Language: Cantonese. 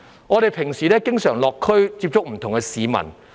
我們平日經常落區接觸不同的市民。